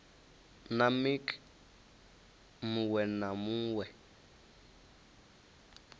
na mec muwe na muwe